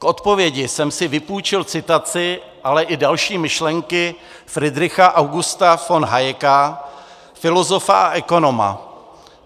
K odpovědi jsem si vypůjčil citaci, ale i další myšlenky Friedricha Augusta von Hayeka, filozofa a ekonoma.